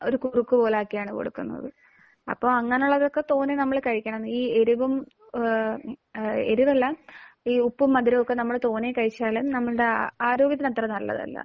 ഒരു കുറുക്ക് പോലെയാക്കിയാണ് കൊടുക്കുന്നത്. അപ്പോൾ അങ്ങനെയുള്ളതൊക്കെ തോനെ നമ്മൾ കഴിക്കണം. ഈ എരിവും ഏഹ് ഏഹ് എരിവല്ല ഈ ഉപ്പും മധുരവുമൊക്കെ നമ്മൾ തോനെ കഴിച്ചാൽ നമ്മളുടെ ആരോഗ്യത്തിന് അത്ര നല്ലതല്ല.